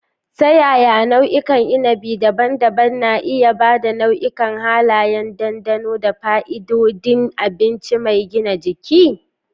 Ta yaya nau'ikan innabi daban-daban na iya ba da nau'ikan halayen dandano da fa'idodin abinci mai gina jiki?